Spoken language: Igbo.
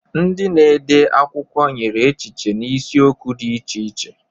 Ndị na-ede akwụkwọ nyere echiche n'isiokwu dị iche iche.